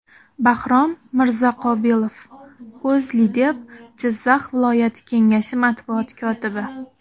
Bahrom Mirzaqobilov, O‘zLiDeP Jizzax viloyati kengashi matbuot kotibi .